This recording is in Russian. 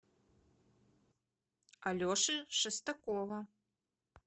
алеши шестакова